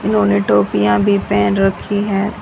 इन्होंने टोपियां भी पहेन रखी है।